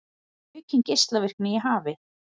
Aukin geislavirkni í hafi